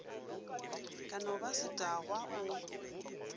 ka no ba setagwa o